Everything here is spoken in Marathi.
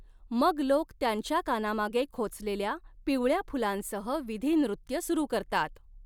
मग लोक त्यांच्या कानामागे खोचलेल्या पिवळ्या फुलांसह विधी नृत्य सुरू करतात.